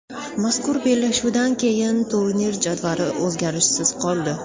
Mazkur bellashuvdan keyin turnir jadvali o‘zgarishsiz qoldi.